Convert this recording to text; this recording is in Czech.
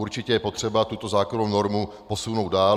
Určitě je potřeba tuto zákonnou normu posunout dál.